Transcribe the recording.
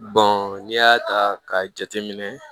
n'i y'a ta k'a jateminɛ